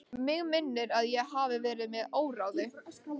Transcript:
Mig minnir að ég hafi verið með óráði.